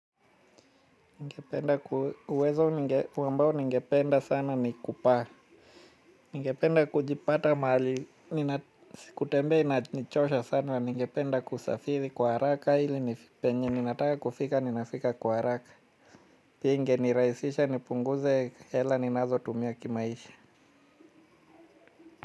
Uwezo wambao ningependa sana ni kupaa. Ningependa kujipata mahali. Si kutembea inachosha sana na ningependa kusafiri kwa haraka ili penye ninataka kufika ninafika kwa haraka. Pia ingenirahisisha nipunguze hela ninazotumia kimaisha.